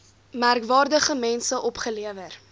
merkwaardige mense opgelewer